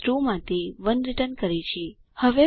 return values 0 જયારે false હોય 1 જયારે ટ્રૂ હોય